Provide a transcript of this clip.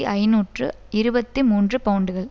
ஐநூற்று இருபத்தி மூன்று பவுண்டுகள்